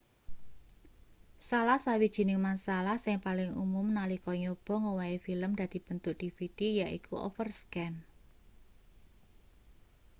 salah sawijining masalah sing paling umum nalika nyoba ngowahi film dadi bentuk dvd yaiku overscan